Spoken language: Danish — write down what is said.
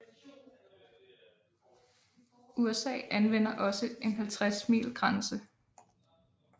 USA anvender også en 50 mile grænse